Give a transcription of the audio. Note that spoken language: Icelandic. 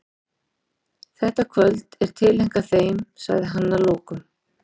Þetta kvöld er tileinkað þeim, sagði hann að lokum.